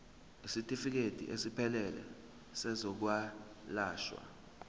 isitifikedi esiphelele sezokwelashwa